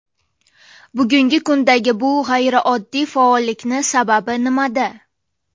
Bugungi kundagi bu g‘ayrioddiy faollikning sababi nimada?